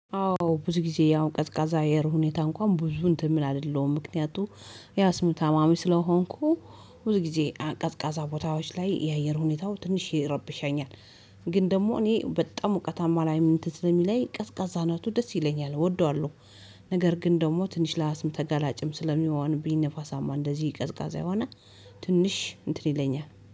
አዎ ብዙ ጊዜ ያው ቀዝቃዛ አየር ሁኔታ እንኳን ብዙ እንትን ምል አይደለሁም ምክንያቱ የአስም ታማሚ ስለሆንኩ ብዙ ጊዜ ቀዝቃዛ ቦታዎች ላይ የአየር ሁኔታው ትንሽ ይረብሻኛል። ግን ደግሞ እኔ በጣም ሞቃታማ ላይ እንትን ስለሚለኝ ቀዝቃዛ ናቱ ደስ ይለኛል እወደዋለሁ። ነገር ግን ደግሞ ትንሽ ለአስም ተጋላጭም ስለሚሆንኝ ነፋሳማ እንደዚህ ቀዝቃዛ የሆነ ትንሽ እንትን ይለኛል